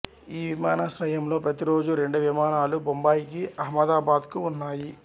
ఈ విమానాశ్రయంలో ప్రతిరోజూ రెండు విమానాలు బొంబాయికు అహ్మదాబాద్కు ఉన్నాయి